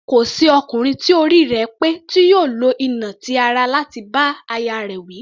Kò sí ọkùnrin tí orí rẹ̀ pé tí yóò lo ìnà ti ara láti bá aya rẹ̀ wí.